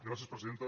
gràcies presidenta